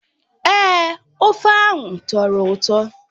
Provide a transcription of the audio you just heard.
Èé, ofe ahụ tọrọ ụtọ.